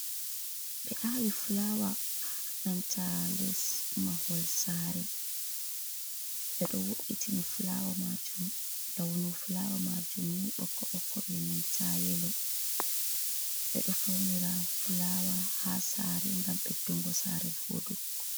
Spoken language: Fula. Be awi fulawa ananta les mahol sare be do woitini fulawa majum launu fulawa majum boko boko enanta yelo bedo faunira fulawa ha sare gam beddungo sare vodugo.